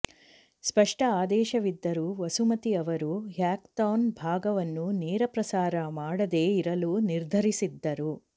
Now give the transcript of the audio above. ಸ್ಪಷ್ಟ ಆದೇಶವಿದ್ದರೂ ವಸುಮತಿ ಅವರು ಹ್ಯಾಕಥಾನ್ ಭಾಗವನ್ನು ನೇರಪ್ರಸಾರ ಮಾಡದೆ ಇರಲು ನಿರ್ಧರಿಸಿದ್ದರು